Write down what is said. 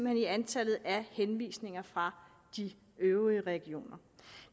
er i antallet af henvisninger fra de øvrige regioner